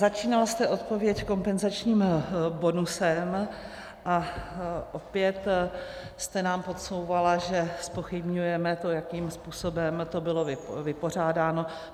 Začínala jste odpověď kompenzačním bonusem a opět jste nám podsouvala, že zpochybňujeme to, jakým způsobem to bylo vypořádáno.